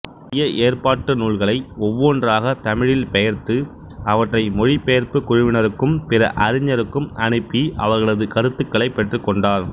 புதிய ஏற்பாட்டு நூல்களை ஒவ்வொன்றாகத் தமிழில் பெயர்த்து அவற்றை மொழிபெயர்ப்புக் குழுவினருக்கும் பிற அறிஞருக்கும் அனுப்பி அவர்களது கருத்துக்களைப் பெற்றுக்கொண்டார்